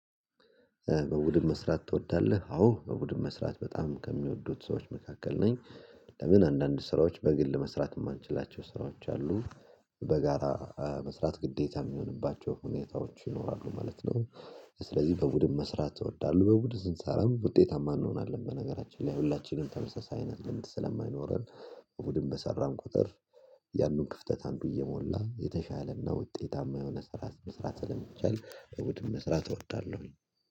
"በቡድን መስራት ትወዳለህ?" አዎ፣ በቡድን መስራት በጣም ከሚወዱት ሰዎች መካከል ነኝ። ለምን? አንዳንድ ስራዎች በግል መስራት የማንችላቸው ስራዎች አሉ። በጋራ መስራት ግዴታ የሚሆንባቸው ሁኔታዎች ይኖራሉ ማለት ነው። ስለዚህ በቡድን መስራት እወዳለሁ። በቡድን ስንሰራም ውጤታማ እንሆናለን በነገራችን ላይ ሁላችንም ተመሳሳይ አይነት ልምድ ስለማይኖረን፣ በቡድን በሰራን ቁጥር የአንዱን ክፍተት አንዱ እየሞላ የተሻለና ውጤታማ የሆነ ስራ መስራት ስለሚቻል በቡድን መስራት እወዳለሁኝ።